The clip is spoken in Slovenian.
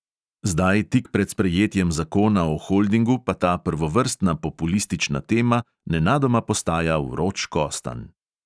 Zdaj tik pred sprejetjem zakona o holdingu pa ta prvovrstna populistična tema nenadoma postaja vroč kostanj.